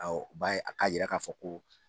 Awɔ b'a ye a k'a yira k'a fɔ ko